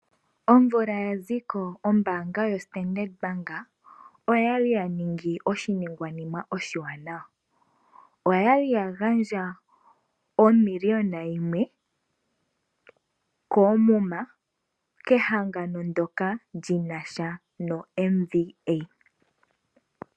Omvula ya ziko ombaanga yoStandard Bank oyali ya ningi oshiningwanima oshiwanawa. Oyali ya gandja omiliyona yimwe koomuma kehangano ndyoka lyoMVA.